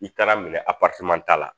I taara minɛ ta la